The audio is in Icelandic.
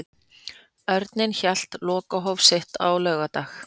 Örninn hélt lokahóf sitt á laugardag.